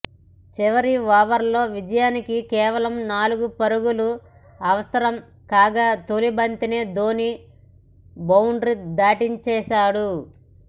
చివరి ఓవర్లో విజయానికి కేవలం నాలుగు పరుగులు అవసరంకాగా తొలి బంతినే ధోని బౌండ్రీ దాటించేసాడు